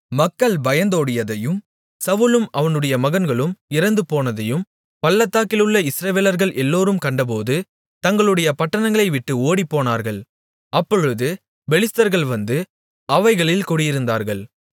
மக்கள் பயந்தோடியதையும் சவுலும் அவனுடைய மகன்களும் இறந்துபோனதையும் பள்ளத்தாக்கிலுள்ள இஸ்ரவேலர்கள் எல்லோரும் கண்டபோது தங்களுடைய பட்டணங்களைவிட்டு ஓடிப்போனார்கள் அப்பொழுது பெலிஸ்தர்கள் வந்து அவைகளில் குடியிருந்தார்கள்